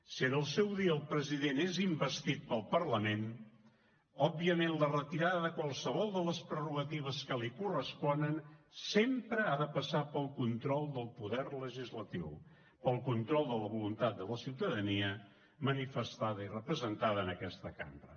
si en el seu dia el president és investit pel parlament òbviament la retirada de qualsevol de les prerrogatives que li corresponen sempre ha de passar pel control del poder legislatiu pel control de la voluntat de la ciutadania manifestada i representada en aquesta cambra